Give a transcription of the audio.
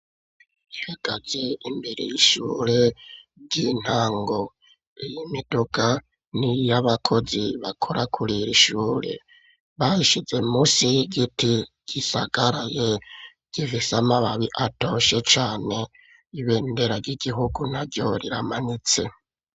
Ibigazi imbere y'ishure ry'intango iyo imidoga niyabakozi bakora kuriri shure bayishize musi giti gisagaraye gifise amababi atoshe cane ibendera ry'igihugu naryo riramanitse.